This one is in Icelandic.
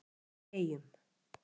Erill í Eyjum